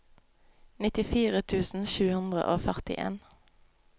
nittifire tusen sju hundre og førtien